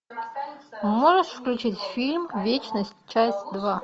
можешь включить фильм вечность часть два